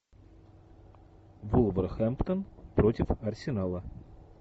вулверхэмптон против арсенала